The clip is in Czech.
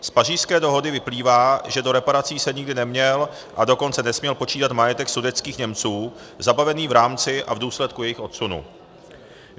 Z Pařížské dohody vyplývá, že do reparací se nikdy neměl, a dokonce nesměl počítat majetek sudetských Němců zabavený v rámci a v důsledku jejich odsunu.